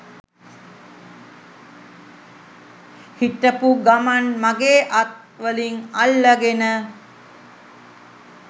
හිටපු ගමන් මගෙ අත් වලින් අල්ලගෙන